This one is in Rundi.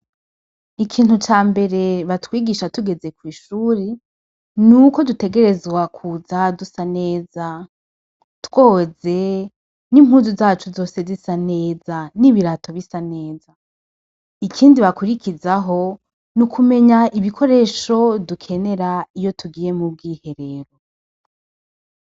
Ikintu ca mbere batwigisha tugeze kw'ishuri ni uko dutegerezwa kuza dusa neza twoze n'impuzu zacu zose zisa neza n'ibirato bisa neza ikindi bakurikizaho ni ukumenya ibikoresho dukenera iyo tugiye mubwiherero.